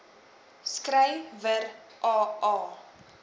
skry wer aa